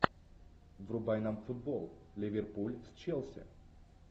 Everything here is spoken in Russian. врубай нам футбол ливерпуль с челси